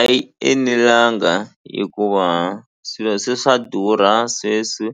A yi enelanga hikuva swilo se swa durha sweswi